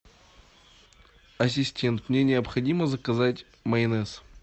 ассистент мне необходимо заказать майонез